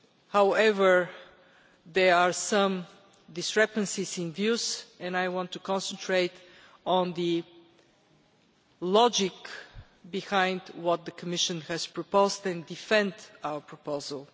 However, there are some discrepancies in views and I want to concentrate on the logic behind what the Commission has proposed and to defend our proposal.